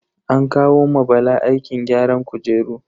An kawo ma Bala aikin gyaran kujeru.